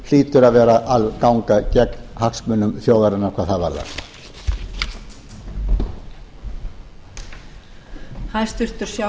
hlýtur að vera að ganga gegn hagsmunum þjóðarinnar hvað það varðar